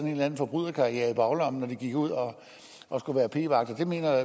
en eller anden forbryderkarriere i baglommen når de gik ud og skulle være p vagter mener